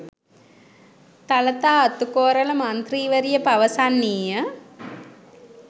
තලතා අතුකෝරල මන්ත්‍රීවරිය පවසන්නීය